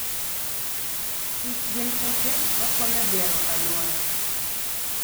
Kich gin kute makonyo bero aluora.